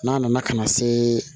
N'a nana ka na se